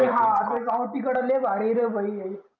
हा ते गावठी कीडा लय भारी आहे रे भाय